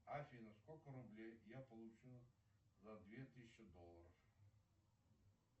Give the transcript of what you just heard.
афина сколько рублей я получу за две тысячи долларов